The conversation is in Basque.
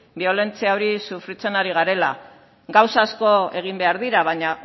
biolentzia hori sufritzen ari garela gauza asko egin behar dira baina